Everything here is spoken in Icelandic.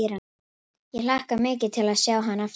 Ég hlakka mikið til að sjá hann aftur.